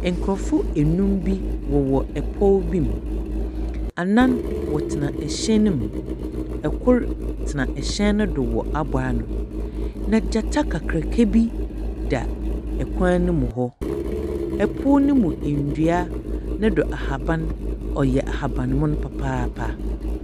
Nkorɔfo enum bi wɔwɔ ɛpow bi mu. Anam wɔtsena ɛhyɛn no mu. Kor tsena ɛhyɛn no do wɔ abow ano. Na gyata kakraka bi da kwan no mu hɔ. Ɛpow no mu ndua no do ahaban ɔyɛ ahaban mon papaapa.